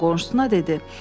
qonşusuna dedi.